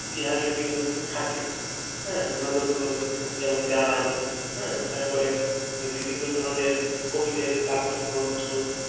ইতিহাস ঐতিহ্য কিন্তু থাকে হ্যাঁ বিনোদনগুলো যেমন গান হ্যাঁ তারপরে যে বিভিন্ন ধরনের কবিদের কাব্যগ্রন্থ